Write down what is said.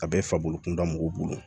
A bɛ fabolo kunda mɔgɔw bolo